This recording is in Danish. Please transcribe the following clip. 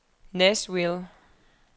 Nashville